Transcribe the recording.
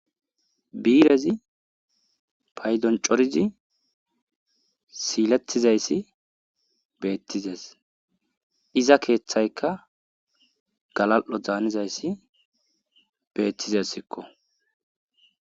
Birezi paydoncorizi siiletizayssi beettizes iza keeththayka galal'o zaanizayssi beettizes sikko.